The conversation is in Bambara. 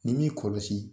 Ni m'i kɔlɔsi